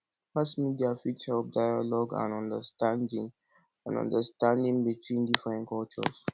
mass media fit help dialogue and understanding and understanding between different cultures